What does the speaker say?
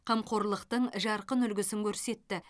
қамқорлықтың жарқын үлгісін көрсетті